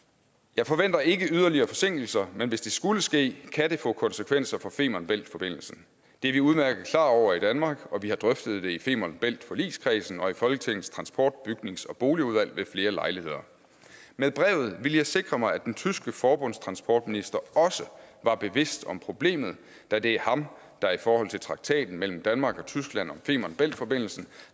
jeg forventer ikke yderligere forsinkelser men hvis det skulle ske kan det få konsekvenser for femern bælt forbindelsen det er vi udmærket klar over i danmark og vi har drøftet det i femern bælt forligskredsen og i folketingets transport bygnings og boligudvalg ved flere lejligheder med brevet ville jeg sikre mig at den tyske forbundstransportminister også var bevidst om problemet da det er ham der i forhold til traktaten mellem danmark og tyskland om femern bælt forbindelsen